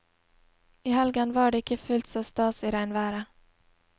I helgen var det ikke fullt så stas i regnværet.